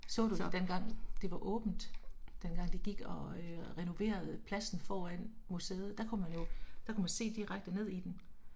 Så du det dengang det var åbent? Dengang de gik og og renoverede pladsen foran museet? Der kunne man jo der kunne man se direkte ned i den